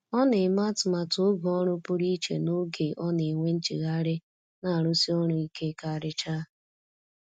Ọ na-eme atụmatụ oge ọrụ pụrụ iche n’oge ọ na-enwe nchegharị na arụsi ọrụ ike karịcha.